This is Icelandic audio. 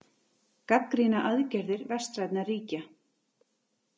Gagnrýna aðgerðir vestrænna ríkja